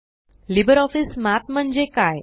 LibreOffice Math म्हणजे काय